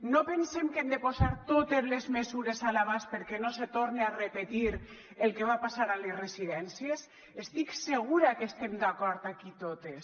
no pensem que hem de posar totes les mesures a l’abast perquè no se torne a repetir el que va passar a les residències estic segura que estem d’acord aquí totes